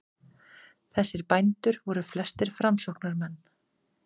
Þessir bændur voru flestir framsóknarmenn.